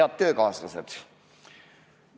Head töökaaslased!